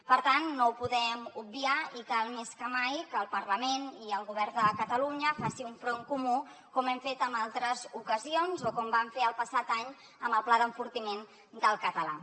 per tant no ho podem obviar i cal més que mai que el parlament i el govern de catalunya facin un front comú com hem fet en altres ocasions o com vam fer el passat any amb el pla d’enfortiment del català